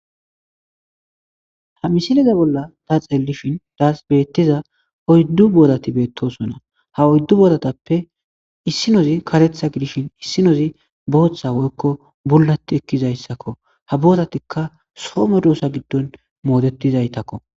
Ha misileza bolla ta xeellishin daas beettiza oyddu boodati beettosona ha oyddu booratappe issinozi katetha gidishin issi nozi booththa woykko bullati ekkizayssakko ha boodatikka somo doosa giddon moodetizaytakko.